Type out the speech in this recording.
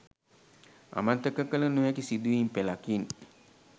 අමතක කළ නොහැකි සිදුවීම් පෙළකින්